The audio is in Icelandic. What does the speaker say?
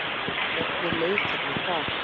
Hvernig leið þér með það?